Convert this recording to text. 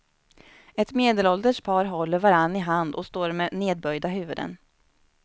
Ett medelålders par håller varann i hand och står med nedböjda huvuden.